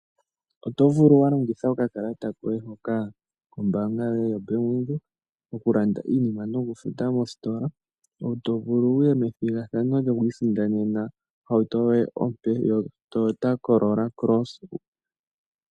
Oto vulu wa longitha okakalata koye hoka kombaanga yoye yoBank Windhoek oku futa iinima nokulanda mositola omuntu to vulu ngoye to vulu wo okuya methigathano lyokwiisindanena ohauto yoye ompe yo Toyota Corora cross.